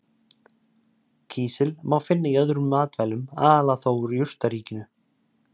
Kísil má finna í öðrum matvælum, aðallega þó úr jurtaríkinu.